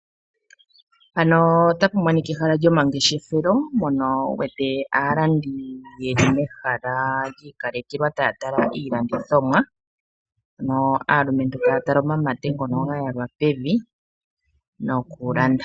Mpano otapa monika ehala lyomangeshefelo mpono wu wete aalandi yeli mehala lyiikalekelwa taya tala iilandithomwa mona taya tala omamate ngoka ga yalwa peni noku landa.